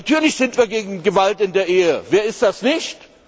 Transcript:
Natürlich sind wir gegen Gewalt in der Ehe, wer ist das nicht?